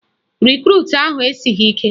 Rekrut ahụ esighị ike